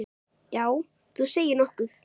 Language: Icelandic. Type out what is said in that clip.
Já, þú segir nokkuð.